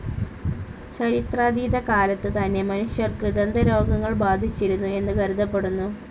ചരിത്രാതീതകാലത്ത് തന്നെ മനുഷ്യർക്ക് ദന്തരോഗങ്ങൾ ബാധിച്ചിരുന്നു എന്നു കരുതപ്പെടുന്നു.